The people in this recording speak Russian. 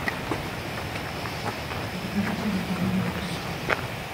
закажи через деливери пиццу